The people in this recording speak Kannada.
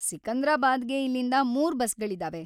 ಸಿಕಂದ್ರಾಬಾದ್‌ಗೆ ಇಲ್ಲಿಂದ ಮೂರು ಬಸ್ಸುಗಳಿದಾವೆ.